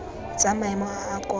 tsa maemo a a kwa